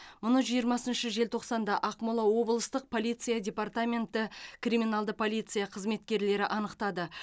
мұны жиырмасыншы желтоқсанда ақмола облыстық полиция департаменті криминалды полиция қызметкерлері анықтады